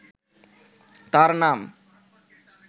তার নাম